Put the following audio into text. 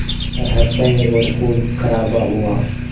पर हत्याएं और ख़ूनख़राबा हुआ